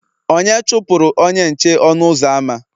onye chụpụrụ onye nche ọnụ ụzọ ámá